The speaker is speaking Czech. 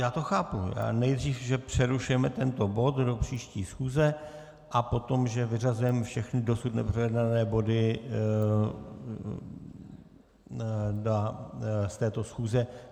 Já to chápu, nejdřív že přerušujeme tento bod do příští schůze a potom, že vyřazujeme všechny dosud neprojednané body z této schůze.